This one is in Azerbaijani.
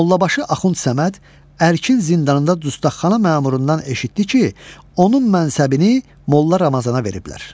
Mollabaşı Axund Səməd Ərkin zindanında Dustaqxana məmurundan eşitdi ki, onun mənsəbini Molla Ramazana veriblər.